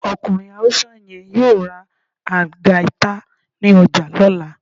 Okunrin Hausa yẹ́n yọọ rá Algaita ní ojà lola.